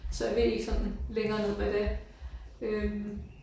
Så jeg ved ikke sådan længere ned hvad det øh